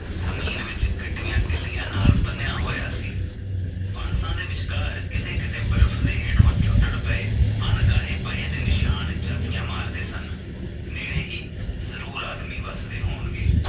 ਜ਼ਮੀਨ ਵਿੱਚ ਗੱਡੀਆਂ ਕਿਲਿਆਂ ਨਾਲ ਬਣਿਆ ਹੋਇਆ ਸੀ ਬੰਸਾ ਦੇ ਵਿੱਚਕਾਰ ਕਿੱਥੇ ਕਿੱਥੇ ਬਰਫ਼ ਦੇ ਹੇਠੋ ਛੁਟਛੁਟ ਪਏ ਅਣਗਾਹੇ ਪਹੇ ਦੇ ਨਿਸ਼ਾਨ ਚਾਤੀਆਂ ਮਾਰਦੇ ਸਨ ਨੇੜੇ ਹੀ ਜਰੂਰ ਆਦਮੀ ਵਸਦੇ ਹੋਣ ਗਏ